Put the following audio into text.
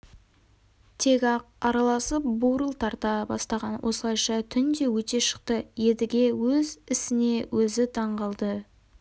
тек ақ араласып бурыл тарта бастаған осылайша түн де өте шықты едіге өз ісіне өзі таңғалды